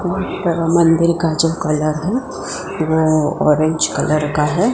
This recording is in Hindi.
मंदिर का जो कलर है वो ऑरेंज कलर का है।